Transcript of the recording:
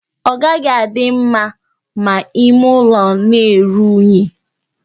Ọ gaghị adị mma ma ịme ụlọ na-eru unyi.